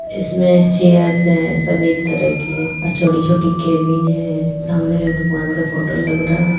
इसमें चेयर्स है सभी एक तरह एक ही है और छोटी-छोटी केबिन है। सामने में भगवान का फोटो लग रहा --